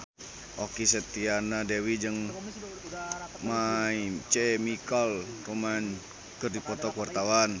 Okky Setiana Dewi jeung My Chemical Romance keur dipoto ku wartawan